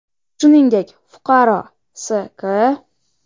Shuningdek, fuqaro S.K.